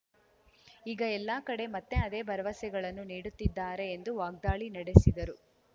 ಈಗ ಎಲ್ಲಾ ಕಡೆ ಮತ್ತೆ ಅದೇ ಭರವಸೆಗಳನ್ನು ನೀಡುತ್ತಿದ್ದಾರೆ ಎಂದು ವಾಗ್ದಾಳಿ ನಡೆಸಿದರು